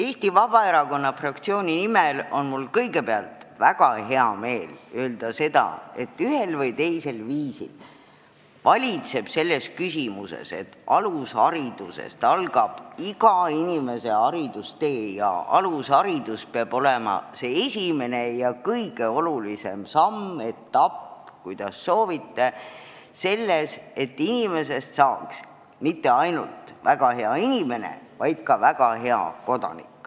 Eesti Vabaerakonna fraktsiooni esindajana on mul kõigepealt väga hea meel öelda seda, et ühel või teisel viisil valitseb üksmeel, et alusharidusest algab iga inimese haridustee ja alusharidus peab olema see esimene ja kõige olulisem samm, etapp – kuidas soovite –, mis tagab, et lapsest ei saa mitte ainult väga hea inimene, vaid ka väga hea kodanik.